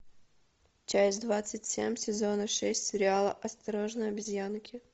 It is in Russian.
часть двадцать семь сезона шесть сериала осторожно обезьянки